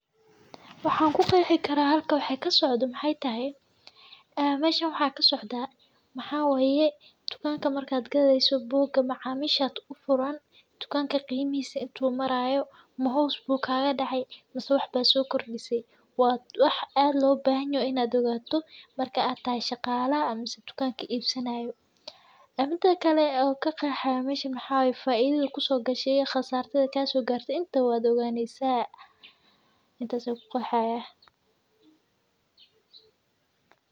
Waxaan ku faliyay karaa halka wax ka socodo Maxay tahay? Aama mashan waxaa ka socda maxaa weeye dukaanka markaad galeysat buuga macaamiisha aad u furan. Dukaanka qiimaysi intuu marayo mahoosbuuga dhahay masu waxba soo kordisay. Waad wax aad loo baahaney inaad ogaato marka aad taaya shaqaalaha aaminsan dukaankii iibsanayo. Arintaa kale oo ka qeexaya ma jecn maxaa weeye faaidada kusoo gashay iyo khasaartada kaasoo gaaray intuu aad ogaanaysatay intaas ku qaxaya.